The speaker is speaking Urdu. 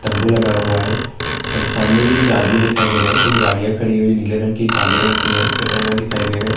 تمبو لگا ہوا ہے سامنے بھی کچھ ادمی دکھائی دے رہے ہیں کچھ گاڑیاں کھڑی ہوئی ہیں نیلے رنگ کی کالے رنگ کی ہے اینا دکھائی دے رہے-